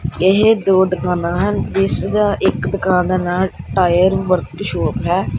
ਇਹ ਦੋ ਦੁਕਾਨਾਂ ਹਨ ਜਿਸ ਦਾ ਇੱਕ ਦੁਕਾਨ ਦਾ ਨਾਂ ਟਾਇਰ ਵਰਕ ਸ਼ੋਪ ਹੈ।